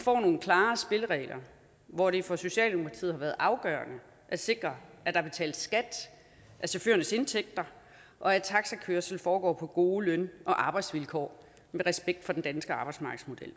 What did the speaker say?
får nogle klare spilleregler hvor det for socialdemokratiet har været afgørende at sikre at der betales skat af chaufførernes indtægter og at taxikørsel foregår på gode løn og arbejdsvilkår med respekt for den danske arbejdsmarkedsmodel